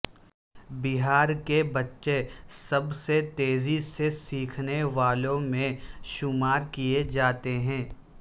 بہار کے بچے سب سے تیزی سے سیکھنے والوں میں شمار کیئے جاتے ہیں